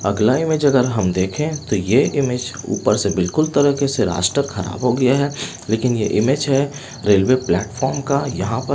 अगला इमेज अगर हम देखें तो ये इमेज ऊपर से बिल्कुल तरीके से रास्ता खराब हो गया है लेकिन ये इमेज है रेलवे प्लेटफार्म का यहाँ प --